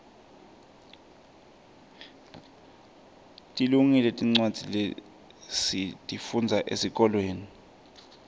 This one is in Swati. tilungile tincwadza lesitifundza esikolweni